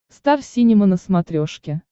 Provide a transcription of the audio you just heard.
стар синема на смотрешке